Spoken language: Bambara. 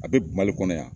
A bɛ mali kɔnɔ yan